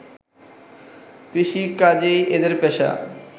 কৃষিকাজই এঁদের পেশা